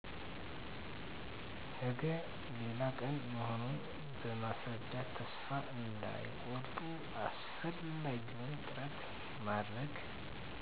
ነገ ሌላ ቀን መሆኑን በማስረዳት ተስፋ እንዳይቆርጡ አስፈላጊውን ጥረት ማድረግ